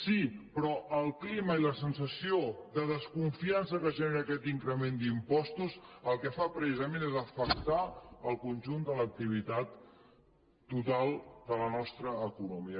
sí però el clima i la sensació de desconfiança que genera aquest increment d’impostos el que fa precisament és afectar el conjunt de l’activitat total de la nostra economia